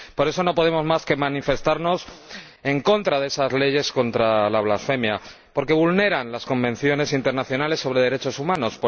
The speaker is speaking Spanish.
Por eso, no podemos más que manifestarnos en contra de esas leyes contra la blasfemia, porque vulneran las convenciones internacionales sobre derechos humanos.